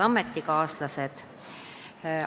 Head ametikaaslased!